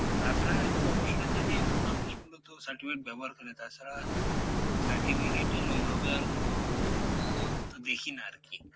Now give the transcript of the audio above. তাছাড়া এই promotion এর জন্যই এখন মানুষ মূলত certificate ব্যবহার করে তাছাড়া certificate এর ওইভাবে আর কোনো মূল অর্থ দেখিনা আরকি,